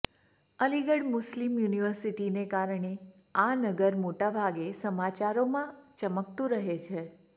Aligarh Muslim યુનિવર્સિટીને કારણે આ નગર મોટાભાગે સમાચારોમાં ચમકતુ રહે છે